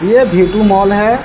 ये V two mall है।